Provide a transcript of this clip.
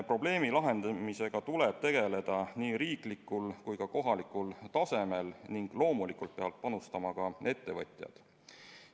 Probleemi lahendamisega tuleb tegeleda nii riiklikul kui ka kohalikul tasemel ning loomulikult peavad panustama ka ettevõtjad.